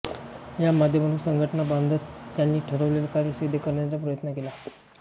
या माध्यमातून संघटना बांधत त्यांनी ठरवलेले कार्य सिद्ध करण्याचा प्रयत्न केला